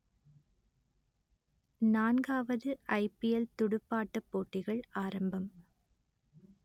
நான்காவது I P L துடுப்பாட்டப் போட்டிகள் ஆரம்பம்